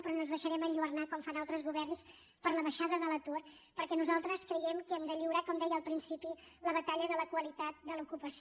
però no ens deixarem enlluernar com fan altres governs per la baixada de l’atur perquè nosaltres creiem que hem de lliurar com deia al principi la batalla de la qualitat de l’ocupació